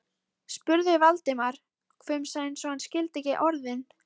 spurði Valdimar, hvumsa eins og hann skildi ekki orðin.